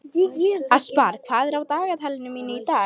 Aspar, hvað er á dagatalinu mínu í dag?